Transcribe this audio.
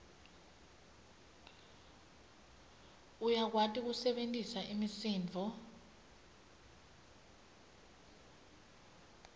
uyakwati kusebentisa imisindvo